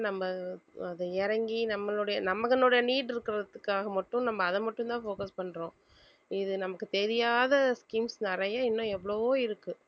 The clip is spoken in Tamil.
நம்ம அஹ் இறங்கி நம்மளுடைய need இருக்கிறதுக்காக மட்டும் நம்ம அதை மட்டும்தான் focus பண்றோம் இது நமக்கு தெரியாத schemes நிறைய இன்னும் எவ்வளவோ இருக்கு